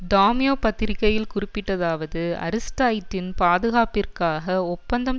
டாம்யோ பத்திரிகையில் குறிப்பிட்டதாவது அரிஸ்டைட்டின் பாதுகாப்பிற்காக ஒப்பந்தம்